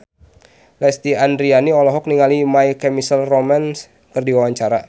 Lesti Andryani olohok ningali My Chemical Romance keur diwawancara